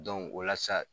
o la sa